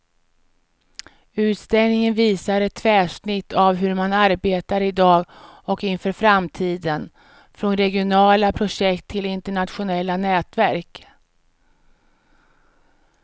Utställningen visar ett tvärsnitt av hur man arbetar i dag och inför framtiden, från regionala projekt till internationella nätverk.